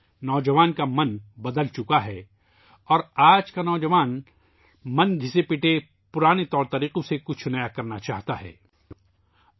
نوجوانوں کا ذہن بدل گیا ہےاور آج کا نوجوان ذہن ، پرانے طریقوں سے کچھ نیا کرنا چاہتا ہے ، ہٹ کر کرنا چاہتا ہے